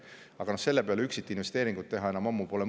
Aga selle peale üksikinvesteeringut teha pole enam ammu mõtet.